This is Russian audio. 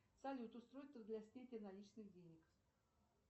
салют устройство для снятия наличных денег